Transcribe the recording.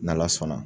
N'ala sɔnna